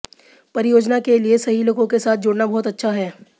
परियोजना के लिए सही लोगों के साथ जुड़ना बहुत अच्छा है